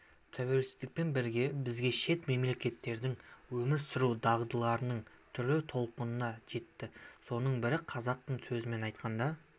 тәуелсіздікпен бірге бізге шет мемлекеттерден өмір сүру дағдыларының түрлі толқыны жетті соның бірі қазақтың сөзімен айтқанда